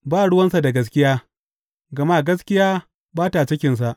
Ba ruwansa da gaskiya, gama gaskiya ba ta cikinsa.